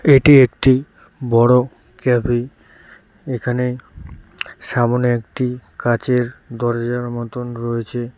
এটি একটি বড় কেবিন এখানে সামনে একটি কাঁচের দরজার মতন রয়েছে।